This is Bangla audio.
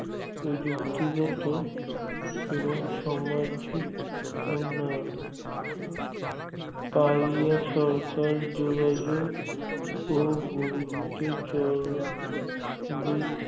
প্রযুক্তিগত এবং সমাজিক উন্নয়ণ তাই সরকার যোগাযোগ ও গুরুত্বচর বিদ